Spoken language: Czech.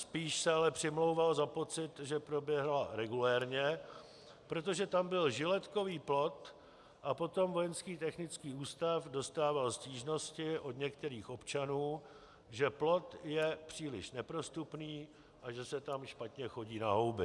Spíš se ale přimlouval za pocit, že proběhla regulérně, protože tam byl žiletkový plot a potom Vojenský technický ústav dostával stížnosti od některých občanů, že plot je příliš neprostupný a že se tam špatně chodí na houby.